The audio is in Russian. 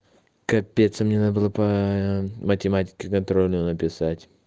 капец а мне надо было по математике контрольную написать